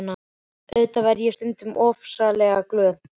Auðvitað verð ég stundum ofsalega glöð.